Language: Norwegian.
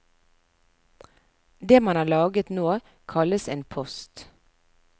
Det man har laget nå kalles en post.